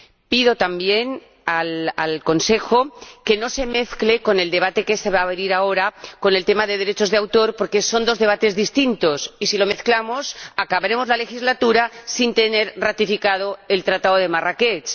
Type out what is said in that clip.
Pido también al Consejo que no se mezcle con el debate que se va a abrir ahora, con el tema de los derechos de autor, porque son dos debates distintos y, si lo mezclamos, acabaremos la legislatura sin tener ratificado el Tratado de Marrakech.